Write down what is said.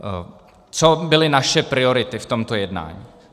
Co byly naše priority v tomto jednání?